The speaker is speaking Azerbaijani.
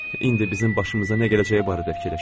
İndi bizim başımıza nə gələcəyi barədə fikirləşin.